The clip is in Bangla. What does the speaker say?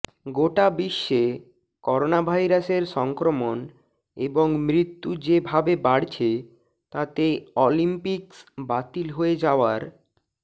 গোটা বিশ্বে করোনাভাইরাসের সংক্রমণ এবং মৃত্যু যে ভাবে বাড়ছে তাতে অলিম্পিক্স বাতিল হয়ে যাওয়ার